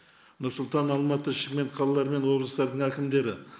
нұр сұлтан алматы шымкент қалалары мен облыстардың әкімдері